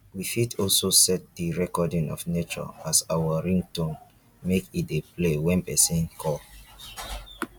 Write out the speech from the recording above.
we fit also set the recording of nature as our ringtone make e dey play when persin call